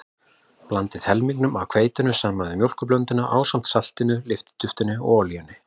Blandið helmingnum af hveitinu saman við mjólkurblönduna ásamt saltinu, lyftiduftinu og olíunni.